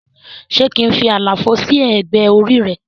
Se kín fí àlàfo sí ẹgbẹ́ orí re?